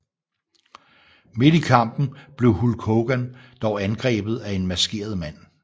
Midt i kampen blev Hulk Hogan dog angrebet af en maskeret mand